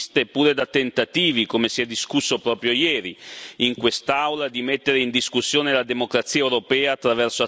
in quest'Aula di mettere in discussione la democrazia europea attraverso azioni e ingerenze provenienti da forze esterne.